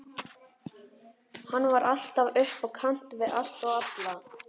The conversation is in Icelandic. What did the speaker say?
Hann var alltaf upp á kant við allt og alla.